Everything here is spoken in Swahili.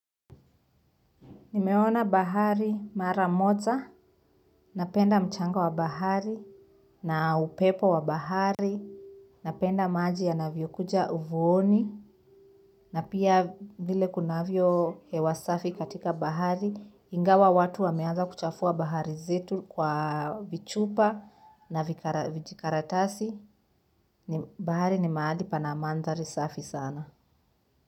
Nimeona bahari mara moja, napenda mchanga wa bahari, na upepo wa bahari, napenda maji yanavyokuja uvuoni, na pia vile kunavyo hewa safi katika bahari, ingawa watu wameaza kuchafua bahari zetu kwa vichupa na vijikaratasi, bahari ni maali pan amandhari safi sana.